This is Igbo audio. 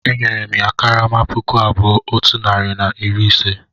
Enyere m ya karama puku abụọ otu narị na iri ise